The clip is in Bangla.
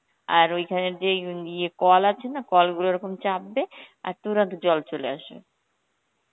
আর ওইখানে যে ইউন~ ইয়ে কল আছে না, কলগুলো ওরকম চাপ দেয়, আর Hindi জল চলে আসে.